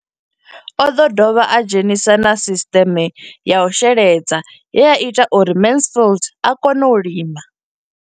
O ḓo dovha a dzhenisa na sisiṱeme ya u sheledza ye ya ita uri Mansfied a kone u lima.